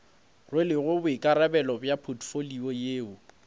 rwelego boikarabelo bja potfolio yeo